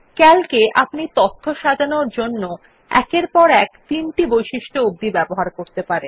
Calc এ আপনি তথ্য সাজানোর জন্য একের পর এক তিনটি বৈশিষ্ট্য অবধি ব্যহহার করতে পারেন